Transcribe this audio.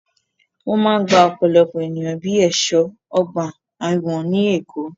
Wọ́n máa ń gba ọ̀pọ̀lọpọ̀ ènìyàn bíi ẹ̀ṣọ́ ọgbà ẹ̀wọ̀n ní Èkó.